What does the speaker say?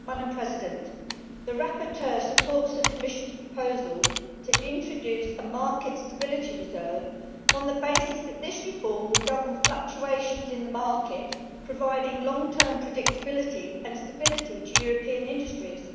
Madam President, the rapporteur supports the Commission's proposal to introduce a market stability reserve on the basis that this reform will govern fluctuations in the market, providing long term predictability and stability to European industries.